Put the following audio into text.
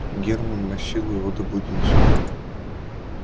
германн насилу его добудился